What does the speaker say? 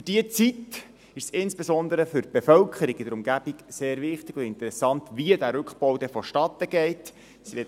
Für diese Zeit ist es insbesondere für die Bevölkerung in der Umgebung sehr wichtig und interessant zu wissen, wie der Rückbau vonstattengehen wird.